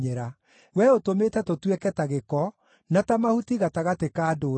Wee ũtũmĩte tũtuĩke ta gĩko, na ta mahuti gatagatĩ ka ndũrĩrĩ.